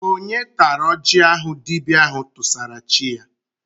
Onye tara oji ahụ dibịa ahụ tụsara chi ya?